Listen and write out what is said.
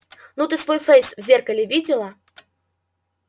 ну ты свой фейс в зеркале видела